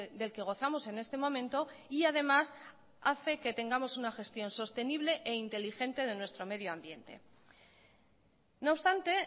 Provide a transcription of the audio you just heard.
del que gozamos en este momento y además hace que tengamos una gestión sostenible e inteligente de nuestro medioambiente no obstante